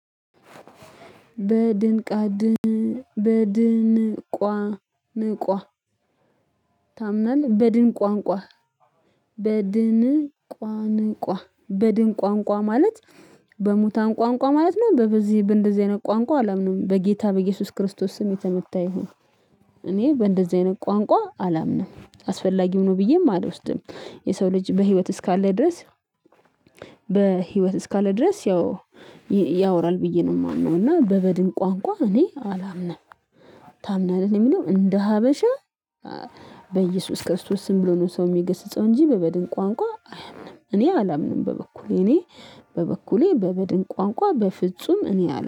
በድንቅ አድን በድንቋ ንቋ ታምናል በድን ቋንቋ በድን ቋንቋ በድን ቋንቋ ማለት በሙታን ቋንቋ ማለት ነው በዚህ በእንደዚህ አይነት ቋንቋ አላምንም በጌታ በኢየሱስ ክርስቶስ ስም የተመታ ይሁን። እኔ በእንደዚህ አይነት ቋንቋ አላምንም አስፈላጊም ነው ብዬም አልወስድም። የሰው ልጅ በህይወት እስካለ ድረስ። በህይወት እስካለ ድረስ ያው ያወራል ብዬ ነው የማምነው እና በበድን ቋንቋ እኔ አላምንም። ታምናለህ እኔ የምለው እንደ ሀበሻ። በኢየሱስ ክርስቶስ ስም ብሎ ነው ሰው የሚገስጸው እንጂ በበድን ቋንቋ አያምንም እኔ አላምንም። በበኩሌ እኔ በበኩሌ በበድን ቋንቋ በፍጹም እኔ አላ